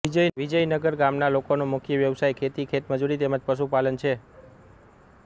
વિજયનગર ગામના લોકોનો મુખ્ય વ્યવસાય ખેતી ખેતમજૂરી તેમ જ પશુપાલન છે